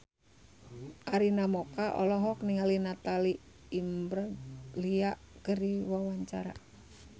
Arina Mocca olohok ningali Natalie Imbruglia keur diwawancara